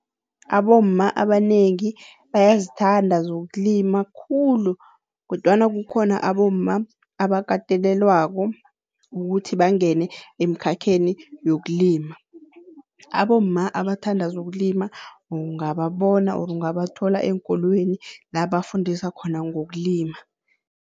Abomma abanengi bayazithanda zokulima khulu kodwana kukhona abomma abakatelelwako ukuthi bangene emkhakheni yokulima. Abomma abathanda zokulima ungababona or ungabathola eenkolweni la bafundisa khona ngokulima.